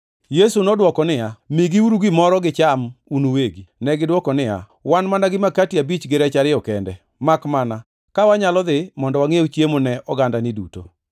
Yesu nodwoko niya, “Migiuru gimoro gicham un uwegi.” Negidwoko niya, “Wan mana gi makati abich gi rech ariyo kende, makmana ka wanyalo dhi mondo wangʼiew chiemo ne ogandani duto.”